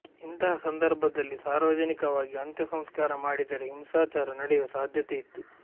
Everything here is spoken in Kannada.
ಇಂತಹ ಸಂದರ್ಭದಲ್ಲಿ ಸಾರ್ವಜನಿಕವಾಗಿ ಅಂತ್ಯ ಸಂಸ್ಕಾರ ಮಾಡಿದರೆ ಹಿಂಸಾಚಾರ ನಡೆಯುವ ಸಾಧ್ಯತೆಯಿತ್ತು